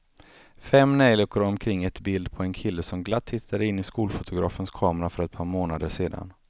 Fem neljikor omkring ett bild på en kille som glatt tittade in i skolfotografens kamera för ett par månader sedan.